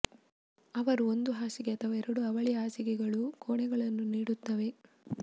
ಅವರು ಒಂದು ಹಾಸಿಗೆ ಅಥವಾ ಎರಡು ಅವಳಿ ಹಾಸಿಗೆಗಳು ಕೋಣೆಗಳನ್ನು ನೀಡುತ್ತವೆ